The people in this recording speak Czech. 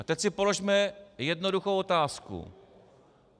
A teď si položme jednoduchou otázku.